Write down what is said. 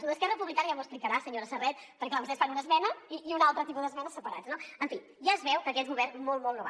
lo d’esquerra republicana ja m’ho explicarà senyora serret perquè clar vostès fan una esmena i un altre tipus d’esmena separats no en fi ja es veu que aquest govern molt molt no va